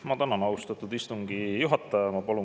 Ma tänan, austatud istungi juhataja!